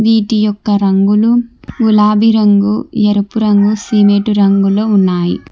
ఈటి యొక్క రంగులు గులాబీ రంగు ఎరుపు రంగు సిమెటు రంగులో ఉన్నాయి.